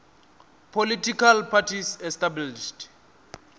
political parties established